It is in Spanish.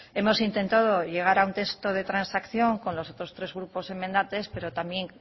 hemos intentado llegar a un texto de transacción con los otros tres grupos enmendantes pero también